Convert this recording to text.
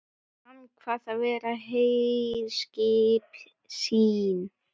Hann kvað það vera herskip sín.